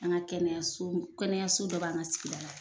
An ka kɛnɛyaso kɛnɛyaso dɔ b'an ka sigida la.